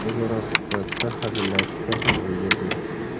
O‘zaro suhbatda hazillashishga ham ulgurdik.